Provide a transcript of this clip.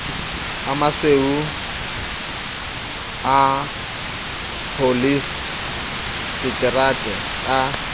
a masweu a pholiesetere a